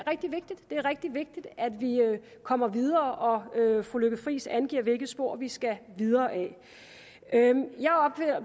er rigtig vigtigt at vi kommer videre og fru lykke friis angiver hvilket spor vi skal videre ad